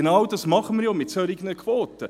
Genau dies tun wir ja mit solchen Quoten!